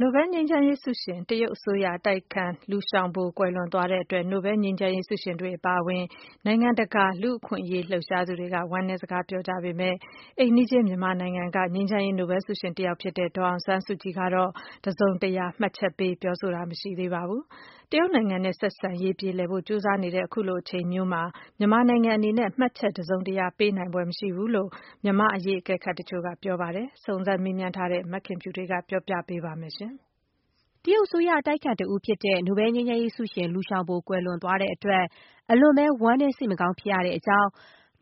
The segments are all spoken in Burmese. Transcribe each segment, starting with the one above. နိုဘဲလ် ငြိမ်းချမ်းရေးဆုရှင် တရုတ်အစိုးရ အတိုက်အခံ လူရှောင်ဘို ကွယ်လွန်သွားတဲ့ အတွက် နိုဘဲလ်ငြိမ်းချမ်းရေးဆုရှင်တွေ အပါအဝင် နိုင်ငံတကာ လူ့အခွင့်အရေး လှုပ်ရှားသူတွေက ဝမ်းနည်းစကားပြောကြပေမဲ့ အိမ်နီးချင်း မြန်မာနိုင်ငံက ငြိမ်းချမ်းရေး နိုဘဲလ်ဆုရှင်တယောက် ဖြစ်တဲ့ ဒေါ်အောင်ဆန်းစုကြည်ကတော့ တစုံတရာ မှတ်ချက်ပေး ပြောဆိုတာ မရှိသေးပါဘူး။ တရုတ်နိုင်ငံနဲ့ ဆက်ဆံရေး ပြေလည်ဖို့ ကြိုးစားနေတဲ့ အခုလို အချိန်မျိုးမှာ မြန်မာနိုင်ငံအနေနဲ့ မှတ်ချက်တစုံတရာ ပေးနိုင်ဖွယ် မရှိဘူးလို့ မြန်မာ့အရေး အကဲခတ်တချို့က ပြောပါတယ်။ စုံစမ်းမေးမြန်းထားတဲ့ မခင်ဖြူထွေးက ပြောပြပေးပါမယ်။ တရုတ်အစိုးရ အတိုက်အခံ တဦးဖြစ်တဲ့ နိုဘဲလ်ငြိမ်းချမ်းရေးဆုရှင် လူရှောင်ဘို ကွယ်လွန်သွားတဲ့အတွက် အလွန်ပဲ ဝမ်းနည်း စိတ်မကောင်း ဖြစ်ရတဲ့အကြောင်း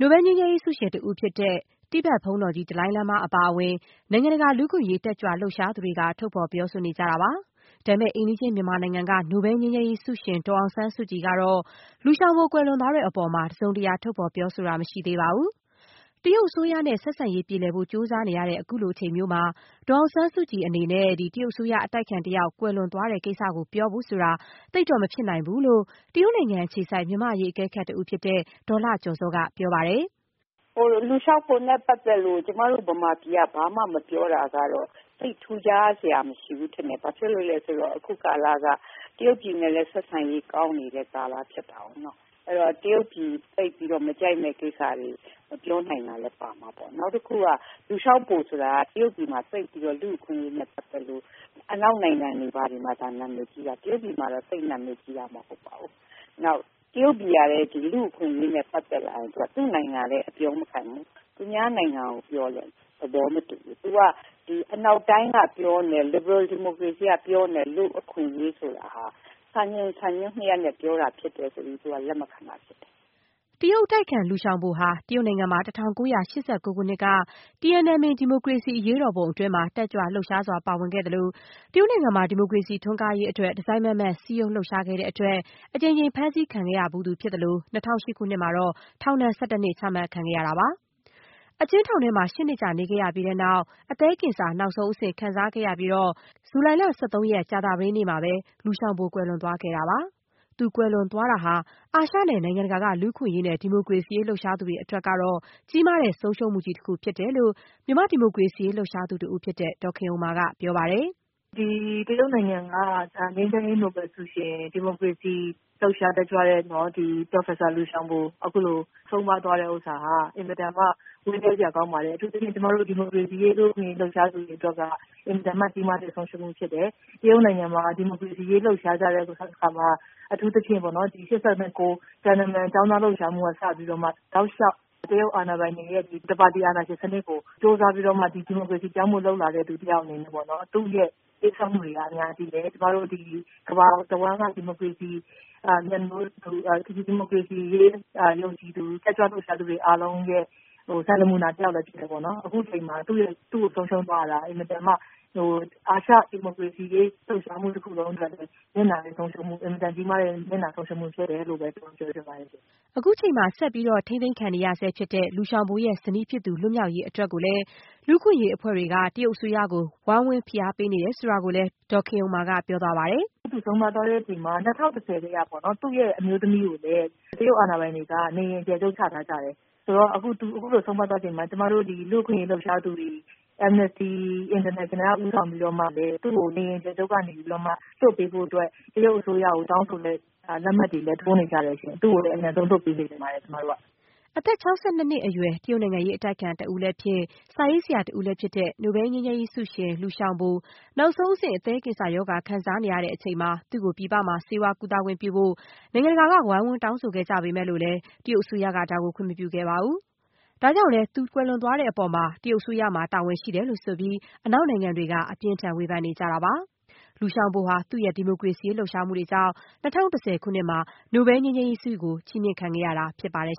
နိုဘဲလ်ငြိမ်းချမ်းရေးဆုရှင် ဘုန်းတော်ကြီး ဒလိုင်းလားမား အပါအဝင် နိုင်ငံတကာ လူ့အခွင့်အရေး တက်ကြွ လှုပ်ရှားသူတွေက ထုတ်ဖော် ပြောဆိုနေကြတာပါ။ ဒါပေမဲ့ အိမ်နီးချင်း မြန်မာနိုင်ငံက နိုဘဲလ် ငြိမ်းချမ်းရေးဆုရှင် ဒေါ်အောင်ဆန်းစုကြည် အနေနဲ့တော့ လူရှောင်ဘို ကွယ်လွန်သွားတဲ့အပေါ်မှာ တစုံတရာ ထုတ်ဖော်ပြောဆိုတာ မရှိသေးပါဘူး။ တရုတ်အစိုးရနဲ့ ဆက်ဆံရေး ပြေလည်ဖို့ ကြိုးစားနေရတဲ့ ခုလို အချိန်မျိုးမှာ ဒေါ်အောင်ဆန်းစုကြည် အနေနဲ့ တရုတ်အစိုးရ အတိုက်အခံတယောက် ကွယ်လွန်တဲ့ ကိစ္စကို ပြောဖို့ဆိုတာ သိပ်တော့မဖြစ်နိုင်ဘူးလို့ တရုတ်နိုင်ငံအခြေစိုက် မြန်မာ့အရေး အကဲခတ်တဦးဖြစ်တဲ့ ဒေါက်တာ လှကျော်ဇော်က ပြောပါတယ်။ "Liu Xiaobo နဲ့ပတ်သက်လို့ ကျမတို့ မြန်မာပြည်က ဘာမှ မပြောတာကတော့ သိပ်ထူးခြားစရာ မဖြစ်ဘူးထင်တယ် ဘာဖြစ်လို့လဲဆိုတော့ အခုကာလက တရုတ်ပြည်နဲ့လည်း ဆက်ဆံရေးကောင်းနေတဲ့ကာလဖြစ်တာကိုးနော်။ အဲ့တော့ တရုတ်ပြည်သိပ်ပြီးတော့ မကြိုက်မယ့်ကိစ္စတွေကို မပြောနိုင်တာလည်း ပါမှာပေါ့။ နောက်ပြီးတော့ Liu Xiaobo ဆိုတာက တရုတ်ပြည်မှာက လူ့အခွင့်အရေးနဲ့ပတ်သက်လို့ အနောက်နိုင်ငံတွေမှာသာ နာမည်ကြီးတာ တရုတ်ပြည်မှာတော့ သိပ်နာမည်ကြီးတာ မဟုတ်ပါဘူး။ နောက် တရုတ်ပြည်ကလည်း လူ့အခွင့်အရေးနဲ့ ပတ်သက်လာရင် သူ့နိုင်ငံကိုလည်း အပြောမခံဘူး။ သူများနိုင်ငံကိုပြောလည်း သဘောမတူဘူး။ သူက အနောက်တိုင်းက ပြောနေတဲ့ Liberal Democracy ကပြောနေတဲ့ လူ့အခွင့်အရေး ဆိုတာက စံချိန်စံညွှန်းနှစ်ရပ်နဲ့ပြောတာဖြစ်တယ်ဆိုပြီး သူက လက်မခံတာဖြစ်တယ်။" တရုတ်အတိုက်အခံ လူရှောင်ဘိုဟာ တရုတ်နိုင်ငံမှာ ၁၉၈၉ ခုနှစ် Tiananmen ဒီမိုကရေစီ အရေးတော်ပုံ အတွင်း တက်ကြွလှုပ်ရှားစွာ ပါဝင်ခဲ့သလို၊ တရုတ်နိုင်ငံမှာ ဒီမိုကရေစီ ထွန်းကားရေး အတွက် တစိုက်မတ်မတ် စည်းရုံးလှုပ်ရှားခဲ့တဲ့အတွက် အကြိမ်ကြိမ် အဖမ်းခံခဲ့ရသလို၊ ၂၀၀၈ ခုနှစ်မှာ ထောင်ဒဏ် ၁၁ နှစ် ချမှတ်ခံခဲ့ရတာပါ။ အကျဉ်းထောင်ထဲမှာ ၈ နှစ်ကြာ နေခဲ့ရပြီးတဲ့နောက် အသည်းကင်ဆာ နောက်ဆုံးအဆင့် ခံစားခဲ့ရပြီး ကြာသပတေးနေ့က လူရှောင်ဘို ကွယ်လွန်သွားခဲ့တာဖြစ်ပါတယ်။ သူ ကွယ်လွန်သွားတာဟာ အာရှ နဲ့ နိုင်ငံတကာ က လူ့အခွင့်အရေးနဲ့ ဒီမိုကရေစီရေး လှုပ်ရှားသူတွေအတွက်တော့ ဆုံးရှုံးမှုကြီးတရပ်ဖြစ်တယ်လို့ မြန်မာ့ဒီမိုကရေစီရေး လှုပ်ရှားသူ တဦးဖြစ်တဲ့ ဒေါ်ခင်ဥမ္မာ က ပြောပါတယ်။ " တရုတ်နိုင်ငံက ငြိမ်းချမ်းရေးနိုဘယ်လ်ဆုရှင် ဒီမိုကရေစီလှုပ်ရှားတက်ကြွသူ ပရော်ဖက်ဆာLiu Xiaobo အခုလို ဆုံးပါးသွားတာဟာ အင်မတန်မှ ဝမ်းနည်းစရာကောင်းပါတယ်။ အထူးသဖြင့် ကျမတို့ ဒီမိုကရေစီရေး လူ့အခွင့်အရေး လှုပ်ရှားသူတွေအတွက်က အင်မတန်မှ ကြီးမားတဲ့ဆုံးရှုံးမှုလည်းဖြစ်တယ်။ တရုတ်နိုင်ငံမှာ ဒီမိုကရေစီလှုပ်ရှားကြတဲ့အခါမှာ အထူးသဖြင့် ၈၉ခုနှစ် Tiananmen ကျောင်းသားလှုပ်ရှားမှု ကစပြီးတော့မှ တောက်လျောက် တရုတ်အာဏာပိုင်တွေရဲ့ တပါတီအာဏာရှင်စနစ်ကို ကြိုးစားပြီးတော့မှ ဒီမိုကရေစီစနစ်ကို ပြောင်းဖို့ လုပ်လာတဲ့သူ တယောက်အနေနဲ့ သူ့ရဲ့ပေးဆပ်မှုတွေက အများကြီးပဲ ကျမတို့ ကမ္ဘာတဝှမ်းက ဒီမိုကရေစီရေးမြတ်နိုးသူ ယုံကြည်သူ တက်ကြွလှုပ်ရှားသူတွေအားလုံးရဲ့ စံနမူနာ တယောက်လည်းဖြစ်တယ်ပေါ့နော်။ အခုအချိန်မှာ သူ့ကိုဆုံးရှုံးရတာဟာ အာရှဒီမိုကရေစီရေး လှုပ်ရှားမှုတခုလုံးအတွက် အင်မတန်ကြီးမားတဲ့ နစ်နာဆုံးရှုံးမှုဖြစ် တယ်လို့လည်း ကျမပြောချင်ပါတယ်ရှင် " အခုချိန်မှာ ထိန်းသိမ်းခံနေရဆဲဖြစ်တဲ့ လူရှောင်ဘိုရဲ့ ဇနီးဖြစ်သူ လွတ်မြောက်ရေးအတွက် လူ့အခွင့်အရေးအဖွဲ့တွေအနေနဲ့ တရုတ်အစိုးရကို ဝိုင်းဝန်းဖိအားပေးနေတဲ့ အကြောင်း လည်း ဒေါ်ခင်ဥမ္မာက ပြောပါတယ်။ " သူဆုံးပါးသွားတဲ့အချိန်မှာ ၂၀၁၀ကတည်းကပေါ့ သူ့ရဲ့အမျိုးသမီးကိုလည်း တရုတ်အာဏာပိုင်တွေက နေအိမ်အကျယ်ချုပ်ချထားကြတယ်။ ဆိုတော့ အခုသူအခုလို ဆုံးပါးသွားချိန်မှာ ကျမတို့ဒီလူ့အခွင့်အရေးလှုပ်ရှားသူတွေ Amnesty International က ဦးဆောင်ပြီးတော့လည်း သူ့ကို နေအိမ်အကျယ်ချုပ်ကနေပြီးတော့မှ လွှတ်ပေးဖို့အတွက် တရုတ်အစိုးရကို တောင်းဆိုတဲ့လက်မှတ်တွေလည်း ထိုးနေကြတယ်ရှင့်။ သူ့ကိုလည်း အမြန်ဆုံးလွှတ်ပေးစေချင်ပါတယ်ရှင့် ကျမတို့က။" အသက် ၆၂ နှစ်အရွယ်၊ တရုတ်နိုင်ငံရေးအတိုက်အခံလည်းဖြစ်၊ စာရေးဆရာလည်းဖြစ်သူ နိုဘဲလ်ငြိမ်းချမ်းရေးဆုရှင် Lui Xiaobo နောက်ဆုံး အဆင့် အသည်းကင်ဆာရောဂါ ခံစားနေရချိန်မှာ သူ့ကို ပြည်ပမှာ ဆေးဝါးကုသခွင်ပြုဖို့ နိုင်ငံတကာ က ဝိုင်းဝန်း တောင်းဆိုခဲ့ကြပေမဲ့ တရုတ်အစိုးရက ခွင့်မပြုခဲ့ပါဘူး။ သူ ကွယ်လွန်မှုအတွက် တရုတ်အစိုးရမှာ တာဝန်ရှိတယ်လို့ ဆိုပြီး အနောက်နိုင်ငံတွေက အပြင်းအထန် ပြစ်တင် ဝေဖန်နေကြတာပါ။လူရှောင်ဘိုရဲ့ ဒီမိုကရေစီရေး လှုပ်ရှားမှုတွေကြောင့် ၂၀၁၀ ခုနှစ်မှာ နိုဘဲလ်ဆု ချီးမြင့်ခံခဲ့ရတာဖြစ်ပါတယ်